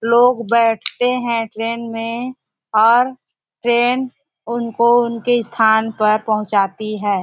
लोग बैठते है ट्रैन में और ट्रैन उनको उनके स्थान पर पहुंचाती है।